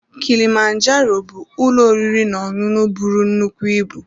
Kilimanjaro bụ ụlọ oriri n'ọṅụṅụ bụrụ nnukwu ịbụ.